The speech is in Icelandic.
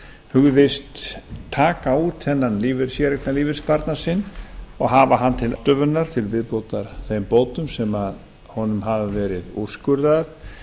hugðist taka út þennan séreignarlífeyrissparnað og hafa hann til ráðstöfunar til viðbótar þeim bótum sem honum hafa verið úrskurðaðar